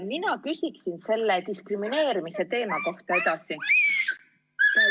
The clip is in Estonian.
Mina küsin selle diskrimineerimise kohta edasi.